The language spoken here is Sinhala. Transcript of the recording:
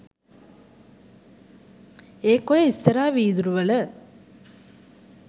ඒක ඔය ඉස්සරහ විදුරුවල